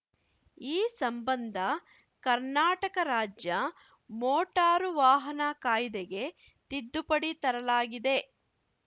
ಈ ಸಂಬಂಧ ಕರ್ನಾಟಕ ರಾಜ್ಯ ಮೋಟಾರು ವಾಹನ ಕಾಯ್ದೆಗೆ ತಿದ್ದುಪಡಿ ತರಲಾಗಿದೆ